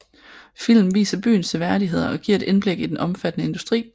Filmen viser byens seværdigheder og giver et indblik i den omfattende industri